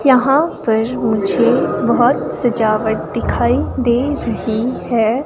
यहां पर मुझे बहोत सजावट दिखाई दे रही है।